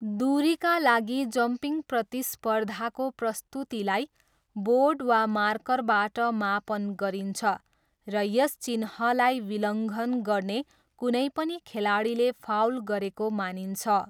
दुरीका लागि जम्पिङ प्रतिस्पर्धाको प्रस्तुतीलाई बोर्ड वा मार्करबाट मापन गरिन्छ, र यस चिह्नलाई विलङ्घन गर्ने कुनै पनि खेलाडीले फाउल गरेको मानिन्छ।